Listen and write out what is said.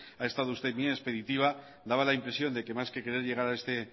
ha estado usted muy expeditiva daba la impresión de que más que querer llegar a este